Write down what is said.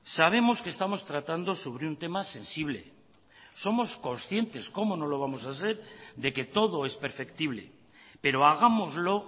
sabemos que estamos tratando sobre un tema sensible somos conscientes como no lo vamos a ser de que todo es perceptible pero hagámoslo